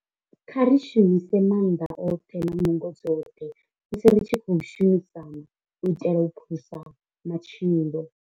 Kha ri shumise maanḓa oṱhe na nungo dzoṱhe musi ri tshi khou shumisana u itela u phulusa matshilo.